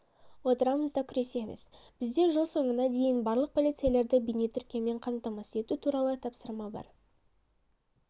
отырамыз да күресеміз бізде жыл соңына дейін барлық полицейлерді бейнетіркеумен қамтамасыз ету туралы тапсырма бар